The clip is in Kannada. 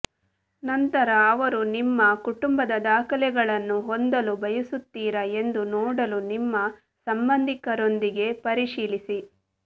ನಂತರ ಅವರು ನಿಮ್ಮ ಕುಟುಂಬದ ದಾಖಲೆಗಳನ್ನು ಹೊಂದಲು ಬಯಸುತ್ತೀರಾ ಎಂದು ನೋಡಲು ನಿಮ್ಮ ಸಂಬಂಧಿಕರೊಂದಿಗೆ ಪರಿಶೀಲಿಸಿ